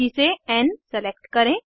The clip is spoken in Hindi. सूची से एन सेलेक्ट करें